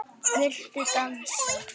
Viltu dansa?